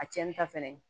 A cɛnni ta fɛnɛ